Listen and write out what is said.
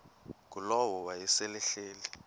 ngulowo wayesel ehleli